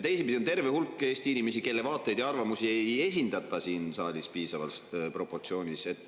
Teisipidi, on terve hulk Eesti inimesi, kelle vaateid ja arvamusi ei esindata siin saalis piisavas proportsioonis.